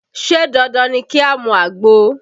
Ṣé dandan ni ki a mu àgbo?